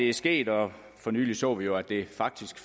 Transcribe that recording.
er sket og for nylig så vi jo at det faktisk